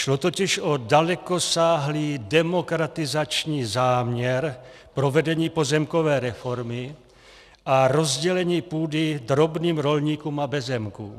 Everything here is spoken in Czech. Šlo totiž o dalekosáhlý demokratizační záměr provedení pozemkové reformy a rozdělení půdy drobným rolníkům a bezzemkům.